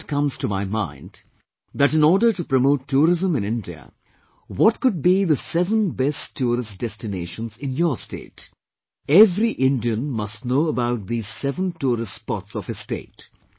A thought comes to my mind, that in order to promote tourism in India what could be the seven best tourist destinations in your state every Indian must know about these seven tourist spots of his state